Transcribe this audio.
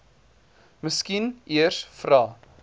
miskien eers vra